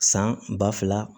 San ba fila